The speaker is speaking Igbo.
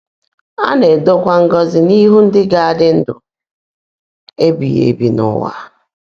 A na-edokwa ngọzi n'ihu ndị ga-adị ndụ ebighị ebi n'ụwa.